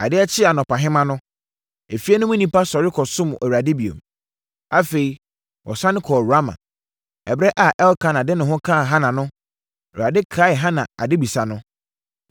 Adeɛ kyee anɔpahema no, efie no mu nnipa sɔre kɔsom Awurade bio. Afei, wɔsane kɔɔ Rama. Ɛberɛ a Elkana de ne ho kaa Hana no, Awurade kaee Hana adebisa no,